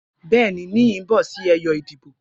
Bẹẹni, Niyi n bọ si ẹyọ idibo.